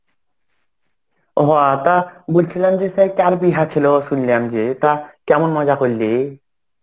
হ তা বলছিলাম যে সেই কার বিয়াহ ছিল শুনলাম যে তা কেমন মজা করলি?